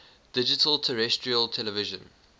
digital terrestrial television